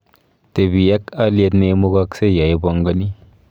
Tebii ak aliet neimugashei yo ibangani